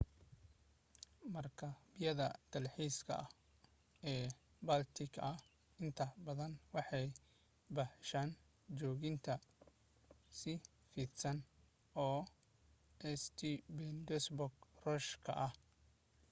markabyada dalxiiska ee baltic intooda badan waxay baxshaan joogitaan fidsan oo st petersburg ruush ka ah